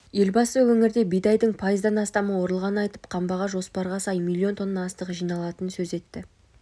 елбасы өңірде бидайдың пайыздан астамы орылғанын айтып қамбаға жоспарға сай млн тонна астық жиналатынын сөз етті